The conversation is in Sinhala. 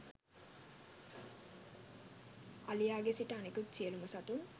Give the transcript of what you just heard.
අලියාගේ සිට අනිකුත් සියලුම සතුන්